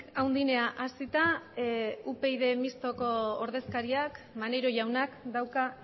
handienera hasita mistoa upyd taldeko ordezkariak maneiro jaunak dauka